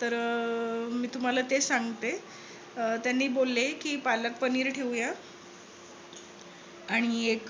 तर अं मी तुम्हाला तेच सांगते. अह त्यांनी बोलले कि पालक पनीर ठेवूया आणि एक